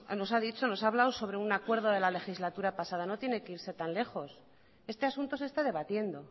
nos ha dicho nos ha hablado sobre un acuerdo de la legislatura pasada no tiene que irse tan lejos este asunto se está debatiendo